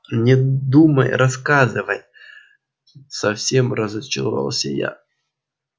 не думай рассказывай совсем разочаровался я